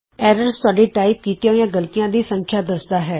errors ਤੁਹਾਡੀਆਂ type ਕੀਤੀਆਂ ਗਲਤੀਆਂ ਦੀ ਸੰਖਿਆ ਦੱਸਦਾ ਹੈ